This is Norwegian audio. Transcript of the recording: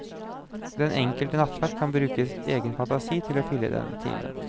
Den enkelte nattvert kan bruke egen fantasi til å fylle denne timen.